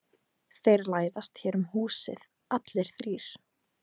Þeir læðast hér um húsið allir þrír.